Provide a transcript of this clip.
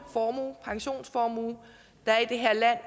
pensionsformue der er i det her land